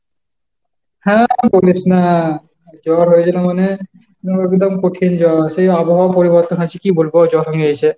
হ্যাঁ আর বলিস না, জ্বর হয়েছিল মানে, একদম কঠিন জ্বর। সেই আবহাওয়া পরিবর্তন হয়েছে কি বলবো জ্বর হয়েছে।